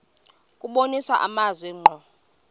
kubonisa amazwi ngqo